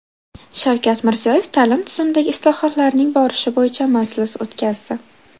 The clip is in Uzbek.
Shavkat Mirziyoyev ta’lim tizimidagi islohotlarning borishi bo‘yicha majlis o‘tkazdi.